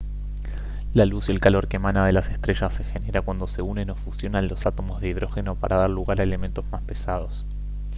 la luz y el calor que emana de las estrellas se genera cuando se unen o fusionan los átomos de hidrógeno para dar lugar a elementos más pesados